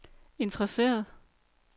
interesseret